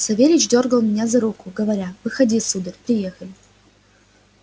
савельич дёргал меня за руку говоря выходи сударь приехали